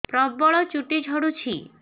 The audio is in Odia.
ପ୍ରବଳ ଚୁଟି ଝଡୁଛି